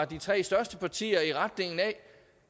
de tre største partier i retning af